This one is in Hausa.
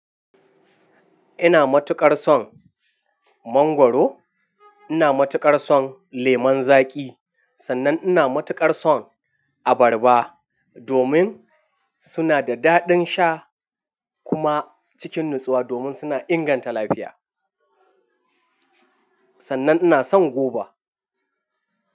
Ina matuƙar son mangwaro, ina matuƙar son lemun zaƙi sannan ina matuƙar son abarba domin suna da daɗin sha kuma cikin natsuwa domin suna inganta lafiya. Sannan ina son goba.